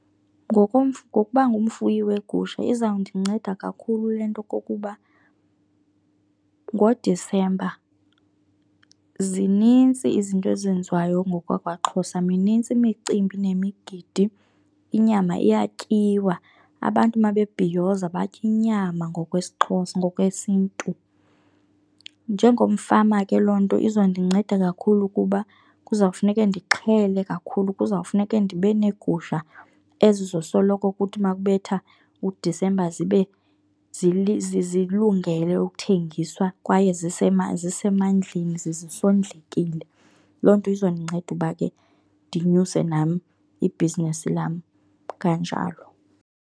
Ngokuba ngumfuyi weegusha izawundinceda kakhulu le nto kukuba ngoDisemba zinintsi izinto ezenziwayo ngokwakwaXhosa, minintsi imicimbi nemigidi, inyama iyatyiwa. Abantu mabebhiyoza batya inyama ngokwesiXhosa, ngokwesiNtu. Njengomfama ke loo nto izondinceda kakhulu kuba kuzawufuneke ndixhele kakhulu, kuzawufuneke ndibe neegusha ezizosoloko kuthi ma kubetha uDisemba zibe zilungele ukuthengiswa kwaye zisemandleni zisondlekile. Loo nto izondinceda uba ke ndinyuse nam ibhizinesi lam kanjalo.